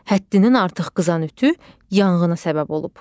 Həddindən artıq qızan ütü yanğına səbəb olub.